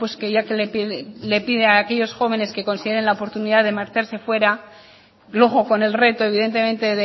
que ya que les pide a aquellos jóvenes que consideren la oportunidad de marchase fuera luego con el reto evidentemente